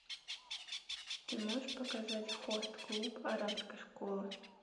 ты можешь показать хост клуб оранской школы